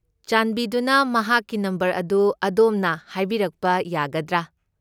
ꯆꯥꯟꯕꯤꯗꯨꯅ ꯃꯍꯥꯛꯀꯤ ꯅꯝꯕꯔ ꯑꯗꯨ ꯑꯗꯣꯝꯅ ꯍꯥꯏꯕꯤꯔꯛꯄ ꯌꯥꯒꯗ꯭ꯔꯥ?